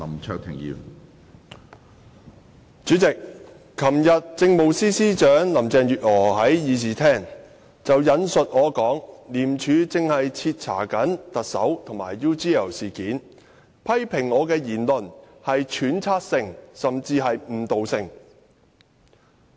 主席，昨天政務司司長林鄭月娥在議事廳引述我的說話："廉署正徹查特首及 UGL 事件"，並批評我的言論屬揣測性，甚至誤導性。